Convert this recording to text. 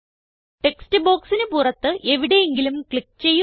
text ബോക്സിന് പുറത്ത് എവിടെയെങ്കിലും ക്ലിക്ക് ചെയ്യുക